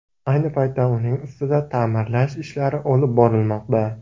Ayni paytda uning ustida ta’mirlash ishlari olib borilmoqda.